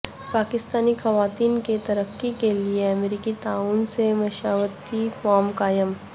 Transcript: پاکستانی خواتین کی ترقی کے لیے امریکی تعاون سےمشاورتی فورم قائم